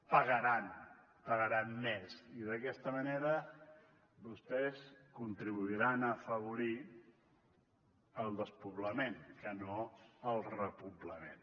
pagaran pagaran més i d’aquesta manera vostès contribuiran a afavorir el despoblament que no el repoblament